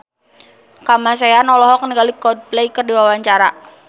Kamasean olohok ningali Coldplay keur diwawancara